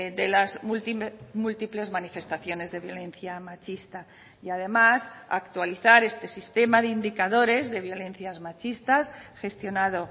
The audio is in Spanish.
de las múltiples manifestaciones de violencia machista y además actualizar este sistema de indicadores de violencias machistas gestionado